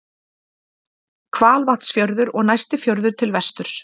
hvalvatnsfjörður og næsti fjörður til vesturs